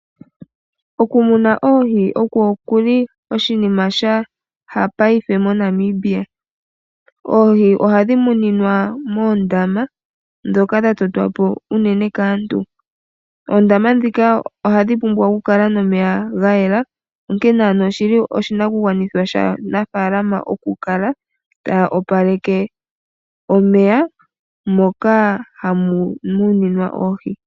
Okumuna oohi okwo kuli oshinima shaha ngaashingeyi moNamibia. Oohi ohadhi muninwa moondama ndhoka dhatotwa po unene kaantu. Oondama ndhika ohadhi pumbwa okukala nomeya gayela onkene ano oshili oshinakugwanitha shaanafaalama okukala taya opaleke omeya moka hamu muninwa oohi.